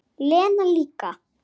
Lena líka.